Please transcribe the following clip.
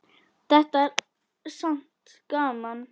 Þetta er samt gaman.